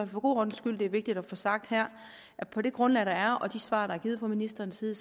for god ordens skyld er vigtigt at få sagt her at på det grundlag der er og de svar der er givet fra ministerens side